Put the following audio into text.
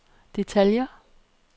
detaljer